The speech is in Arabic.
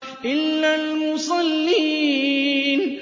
إِلَّا الْمُصَلِّينَ